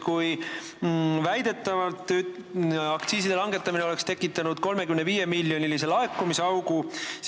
Aktsiiside langetamine oleks väidetavalt tekitanud 35-miljonilise laekumisaugu.